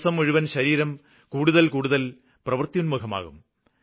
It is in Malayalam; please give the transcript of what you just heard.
ദിവസം മുഴുവന് ശരീരം കൂടുതല് കൂടുതല് പ്രവൃത്യുന്മുഖമാകും